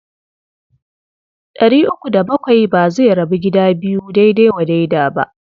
Ɗari uku da bakwai ba zai rabu gida biyu daidai wa daida ba.